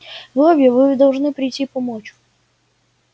вы обе вы должны прийти помочь